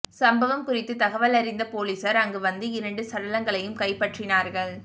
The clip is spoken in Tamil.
சம்பவம் குறித்து தகவலறிந்த பொலிசார் அங்கு வந்து இரண்டு சடலங்களையும் கைப்பற்றினார்கள்